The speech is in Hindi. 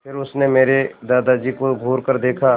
फिर उसने मेरे दादाजी को घूरकर देखा